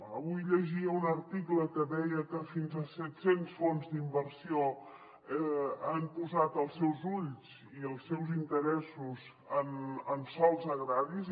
avui llegia un article que deia que fins a set cents fons d’inversió han posat els seus ulls i els seus interessos en sòls agraris